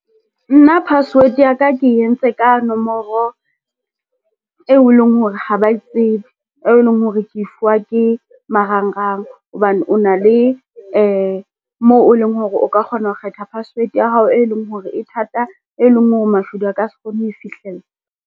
Nna password ya ka ke entse ka nomoro eo e leng hore ha ba tsebe, e leng hore ke fuwa ke marangrang hobane o na le moo o leng hore o ka kgona ho kgetha password ya hao, e leng hore e thata, e leng hore mashodu a ka se kgone ho e fihlella.